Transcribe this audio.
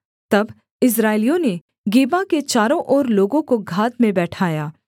तब इस्राएलियों ने गिबा के चारों ओर लोगों को घात में बैठाया